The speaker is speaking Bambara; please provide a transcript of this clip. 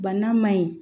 Bana ma ɲi